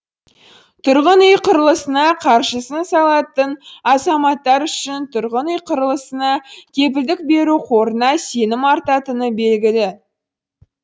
тұрғын үй құрылысына қаржысын салатын азаматтар үшін тұрғын үй құрылысына кепілдік беру қорына сенім артатыны белгілі